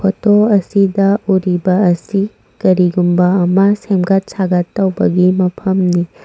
Photo ꯑꯁꯤꯗ ꯎꯔꯤꯕ ꯑꯁꯤ ꯀꯔꯤꯒꯨꯝꯕ ꯑꯃ ꯁꯦꯃꯒꯠ ꯁꯥꯒꯠ ꯇꯧꯕꯒꯤ ꯃꯐꯝꯅꯤ꯫